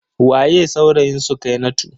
Waye saurayin Sukainatu?